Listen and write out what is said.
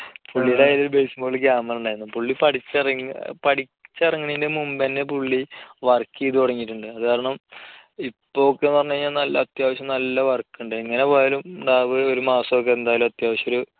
പുള്ളീടെ കയ്യിൽ ഒരു base model camera ഉണ്ടായിരുന്നു. പുള്ളി പഠിച്ച് ഇറങ്ങിയ, പഠിച്ച് ഇറങ്ങണേന്റെ മുൻപുതന്നെ പുള്ളി work ചെയ്തു തുടങ്ങിയിട്ടുണ്ട്. അതുകാരണം ഇപ്പോ ഒക്കെ എന്നു പറഞ്ഞുകഴിഞ്ഞാൽ നല്ല, അത്യാവശ്യം നല്ല work ഉണ്ട്. എങ്ങനെ പോയാലും നമുക്ക് ഒരു മാസമൊക്കെ അത്യാവശ്യം എന്തായാലും ഒരു